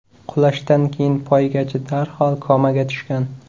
Qulashdan keyin poygachi darhol komaga tushgan.